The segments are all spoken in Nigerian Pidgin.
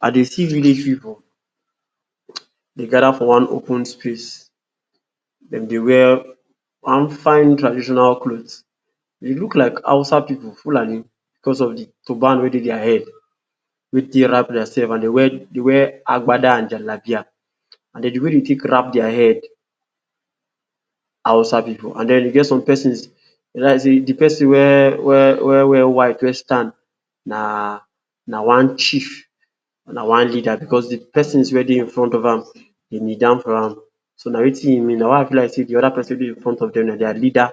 I dey see village pipu dey gather for one open space. Dem dey wear one fine traditional cloth. E look like Hausa pipu, Fulani, because of de turban wey dey dia head, wey dey take wrap dia sef. And dem wear dem wear Agbada and Jallabiya. And den, de way dem take wrap dia head, Hausa pipu. And den, e get some pesins, e be like sey de pesin wey wey wear white wey stand, na na one chief. Na one leader. Because de pesins wey dey infront of am, dem knee down for am. So, na wetin e mean. So, na why I feel like sey de pesin wey dey infront of dem na dia leader,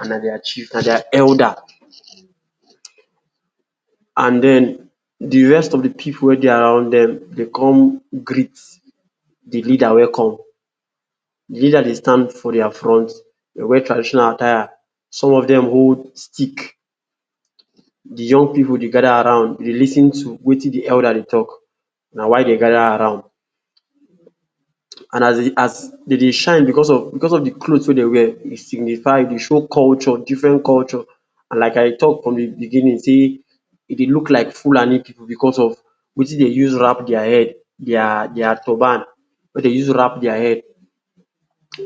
and na dia chief. Na dia elda?. And den, de rest of de pipu wey dey around dem, dem con greet de leader wey come. De leader dey stand for dia front, dem wear traditional attire. Some of dem hold stick. De young pipu dey gather round, dey lis ten to wetin de leader dey tok. Na why dey gather around. And as dem as dem dey shine because of because of de cloth wey dem wear, e signify, e dey show culture, different culture. And like I tok from de beginning say, e dey look like Fulani pipu because of wetin dey use wrap dia head, dia dia turban wey dey use wrap dia head.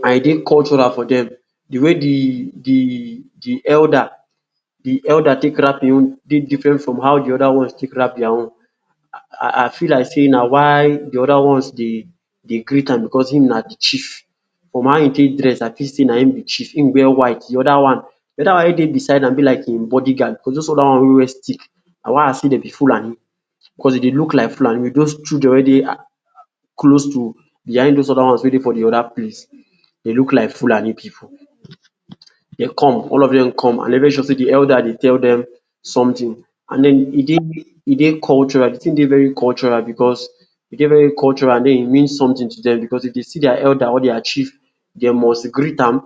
And e dey cultural for dem. De way de de de elda? de elda? take wrap im own dey different from how de others take wrap dia own. I I feel like sey na why de other ones dey de greet am because im na de chief. From how e take dress, I feel sey na im be chief. Im wear white. De other one, de other one wey dey beside am be like im body guard, because those other one wey um stick. Na why I say dem be Fulani. Because dem dey look like Fulani, with those children wey dey close to behind those other ones wey dey de other place. Dem look like Fulani pipu. Dem come. All of dem come. I dey very sure sey de elda? dey tell dem sometin. And den, e dey e dey cultural. De tin dey very cultural because, e dey very cultural, and den, e mean sometin to dem. Because, if dem see dia elda? or dia chief, dem must greet am.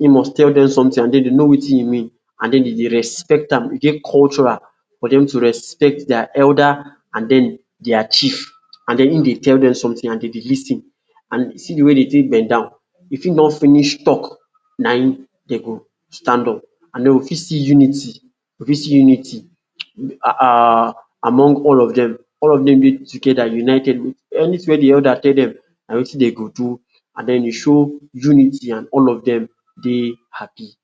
E must tell dem sometin, and den dem know wetin e mean. And den dem dey respect am. E dey very cultural for dem to respect dia elda? and den dia chief. And den, im dey tell dem sometin and dem dey lis ten. And den, see de way dem dey bend down. If im don finish tok, na im dem go stand up. And den, we fit see unity, we fit see unity um um among all of dem. All of dem dey together, united. Anytin wey de elda? tell dem, na wetin dem dey go do. And den, e show unity and all of dem dey happy.